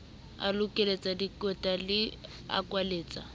a lokolletse dikweta a kwalletse